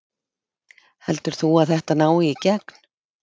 Heldur þú að þetta nái í gegn?